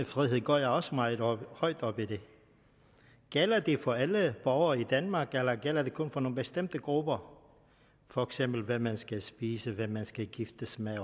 frihed går jeg også meget højt op i gælder det for alle borgere i danmark eller gælder det kun for nogle bestemte grupper for eksempel hvad man skal spise hvem man skal gifte sig med